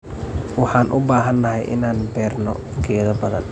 Waxaan u baahanahay inaan beerno geedo badan?